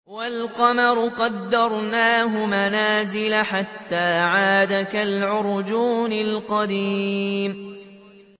وَالْقَمَرَ قَدَّرْنَاهُ مَنَازِلَ حَتَّىٰ عَادَ كَالْعُرْجُونِ الْقَدِيمِ